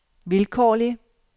vilkårlig